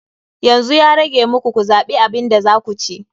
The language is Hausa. Yanzu ya rage muku ku zaɓi abin da za ku ci.